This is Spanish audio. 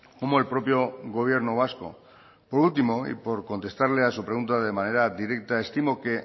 como el propio gobierno vasco por último y por contestarle a su pregunta de manera directa estimo que